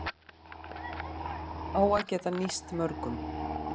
Á að geta nýst mörgum